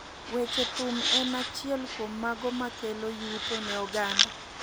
weche thum en achiel kuom mago ma kelo yuto ne oganda.